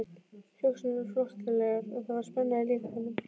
Hugsanirnar flóttalegar og það var spenna í líkamanum.